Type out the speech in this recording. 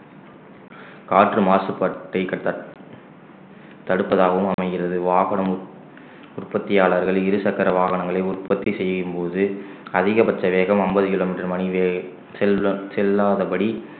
காற்று மாசுபட்டை தடுப்பதாகவும் அமைகிறது வாகனம் உற்~ உற்பத்தியாளர்கள் இருசக்கர வாகனங்களை உற்பத்தி செய்யும்போது அதிகபட்ச வேகம் அம்பது கிலோமீட்டர் மணி வேக~ செல்~ செல்லாதபடி